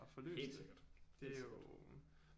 Helt sikkert helt sikkert